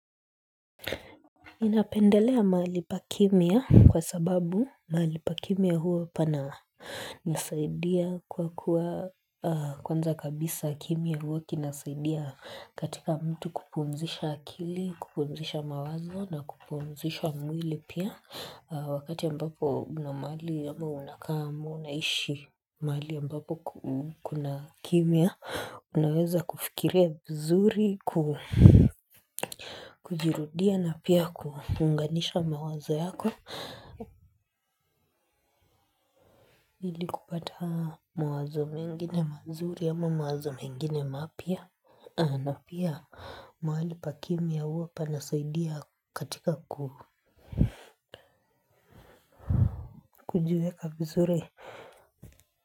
Inapendelea mahali pakimya kwa sababu mahali pakimya huwa pana nisaidia kwa kuwa kwanza kabisa kimya huwa kinasaidia katika mtu kupumzisha akili kupumzisha mawazo na kupumzisha mwili pia wakati ya ambapo una mahali ama unakaa ama unaishi mahali ambapo kuna kimya unaweza kufikiria vizuri kujirudia na pia kuunganisha mawazo yako ili kupata mawazo mengi n mazuri ama mawazo mengine mapya na pia mahali pakimya uwa panasaidia katika kukujiweka vizuri.